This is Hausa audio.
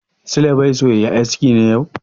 Sule bai so ya yi aski ne yau?